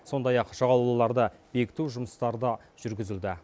сондай ақ жағалауларды бекіту жұмыстары да жүргізілді